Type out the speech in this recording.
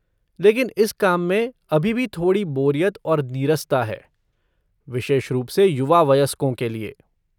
लेकिन इस काम में अभी भी थोड़ी बोरियत और नीरसता है, विशेष रूप से युवा वयस्कों के लिए।